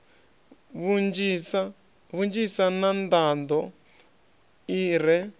vhunzhisa na nḓaḓo i re